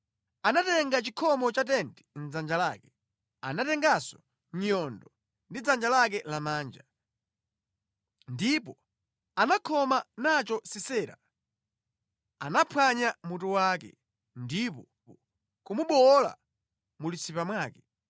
Anatenga chikhomo cha tenti mʼdzanja lake, anatenganso nyundo ndi dzanja lake lamanja. Ndipo anakhoma nacho Sisera, anamuphwanya mutu wake, ndi kumubowola mu litsipa mwake.